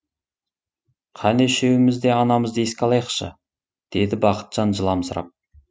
қане үшеуміз де анамызды еске алайықшы деді бақытжан жыламсырап